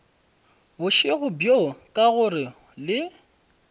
bošego bjo ka gore le